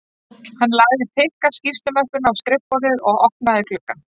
Hann lagði þykka skýrslumöppuna á skrifborðið og opnaði gluggann